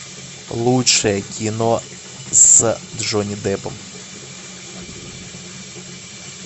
лучшее кино с джонни деппом